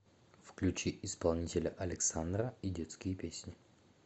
включи исполнителя александра и детские песни